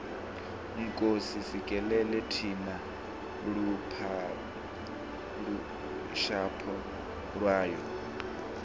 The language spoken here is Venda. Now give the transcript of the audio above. nkosi sikelela thina lusapho lwayo